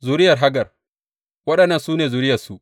Zuriyar Hagar Waɗannan su ne zuriyarsu.